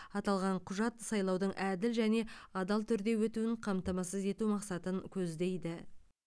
аталған құжат сайлаудың әділ және адал түрде өтуін қамтамасыз ету мақсатын көздейді